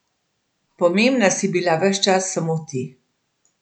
Pomembna si bila ves čas samo ti.